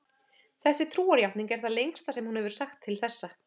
Þessi trúarjátning er það lengsta sem hún hefur sagt til þessa.